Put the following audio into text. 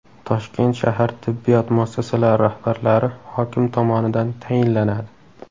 Toshkent shahar tibbiyot muassasalari rahbarlari hokim tomonidan tayinlanadi.